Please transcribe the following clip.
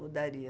Mudaria.